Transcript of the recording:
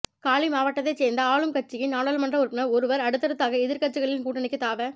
காலி மாவட்டத்தை சேர்ந்த ஆளும் கட்சியின் நாடாளுமன்ற உறுப்பினர் ஒருவர் அடுத்ததாக எதிர்க்கட்சிகளின் கூட்டணிக்கு தாவ